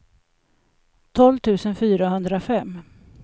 tolv tusen fyrahundrafem